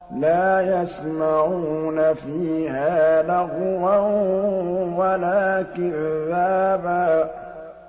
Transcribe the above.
لَّا يَسْمَعُونَ فِيهَا لَغْوًا وَلَا كِذَّابًا